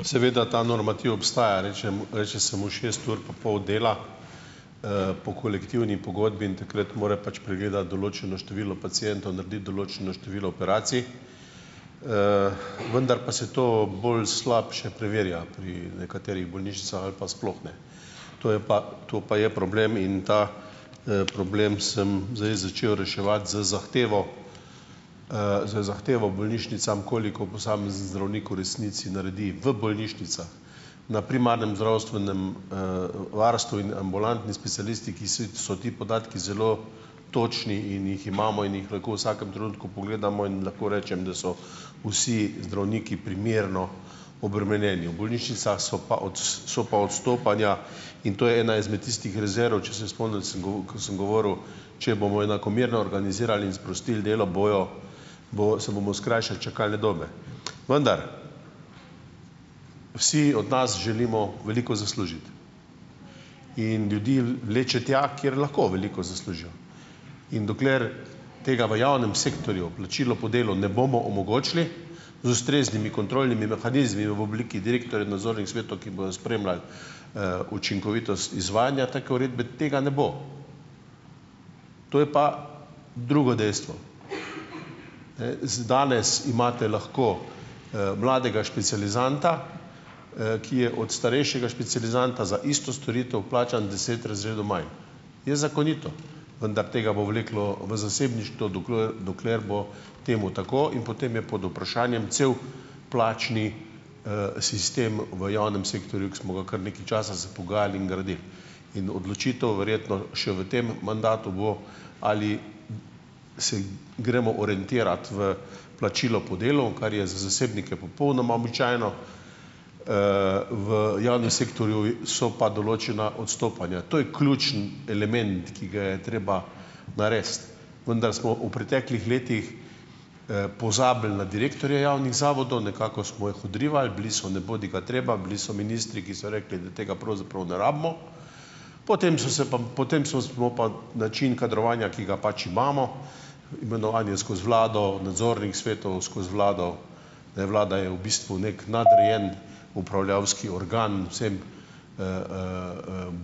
Seveda ta normativ obstaja, reče mu reče se mu šest ur pa pol dela, po kolektivni pogodbi in takrat mora pač pregledati določeno število pacientov, narediti določeno število operacij, vendar pa se to bolj slabše preverja pri nekaterih bolnišnicah ali pa sploh ne. To je pa, to pa je problem in ta, problem sem zdaj začel reševati z zahtevo, z zahtevo bolnišnicam, koliko posamezni zdravnik v resnici naredi v bolnišnicah. Na primarnem zdravstvenem, varstvu in ambulantni specialistiki si so ti podatki zelo točni in jih imamo in jih lahko v vsakem trenutku pogledamo in lahko rečem, da so vsi zdravniki primerno obremenjeni. V bolnišnicah so pa so pa odstopanja in to je ena izmed tistih rezerv, če se spomni, samo ko sem govoril, če bomo enakomerno organizirali in sprostili delo, bojo bojo se bomo skrajšali čakalne dobe. Vendar vsi od nas želimo veliko zaslužiti in ljudi vleče tja, kjer lahko veliko zaslužijo, in dokler tega v javnem sektorju plačilo po delu ne bomo omogočili z ustreznimi kontrolnimi mehanizmi v obliki direktorjev nadzornih svetov, ki bojo spremljali, učinkovitost izvajanja take uredbe, tega ne bo. To je pa drugo dejstvo. z danes imate lahko, mladega specializanta, ki je od starejšega specializanta za isto storitev plačan deset razredov manj. Je zakonito, vendar tega bo vleklo v zasebništvo, dokler dokler bo temu tako, in potem je pod vprašanjem cel plačni, sistem v javnem sektorju, ki smo ga kar nekaj časa se pogajali in gradili. In odločitev verjetno še v tem mandatu bo, ali se gremo orientirati v plačilo po delu, kar je za zasebnike popolnoma običajno, v javnem sektorju v so pa določena odstopanja. To je ključni element, ki ga je treba narediti. Vendar smo v preteklih letih, pozabili na direktorje javnih zavodov, nekako smo jih odrivali, bili so nebodigatreba, bili so ministri, ki so rekli, da tega pravzaprav ne rabimo. Potem so se pa potem so smo pa način kadrovanja, ki ga pač imamo, imenovanje skozi vlado, nadzornih svetov skozi vlado, ne, vlada je v bistvu neki nadrejen upravljavski organ vsem,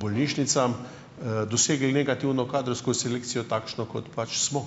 bolnišnicam, dosegli negativno kadrovsko selekcijo, takšno, kot pač smo.